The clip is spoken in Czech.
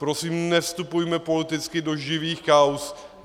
Prosím, nevstupujme politicky do živých kauz.